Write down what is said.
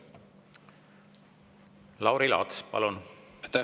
Lauri Laats, palun!